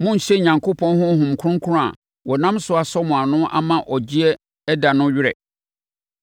Monnhyɛ Onyankopɔn Honhom Kronkron a wɔnam so asɔ mo ano ama ɔgyeɛ da no werɛ.